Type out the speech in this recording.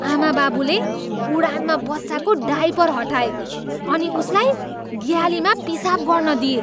आमाबाबुले उडानमा बच्चाको डायपर हटाए अनि उसलाई ग्यालीमा पिसाब गर्न दिए।